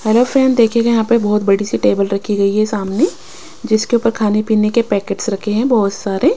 Hello friend देखिएगा यहां पे बहुत बड़ी सी टेबल रखी गई है सामने जिसके ऊपर खाने पीने के पैकेट्स रखे हैं बहुत सारे।